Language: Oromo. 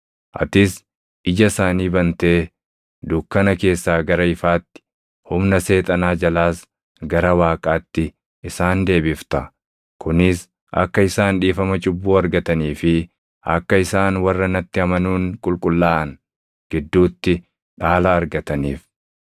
Atis ija isaanii bantee dukkana keessaa gara ifaatti, humna Seexanaa jalaas gara Waaqaatti isaan deebifta; kunis akka isaan dhiifama cubbuu argatanii fi akka isaan warra natti amanuun qulqullaaʼan gidduutti dhaala argataniif.’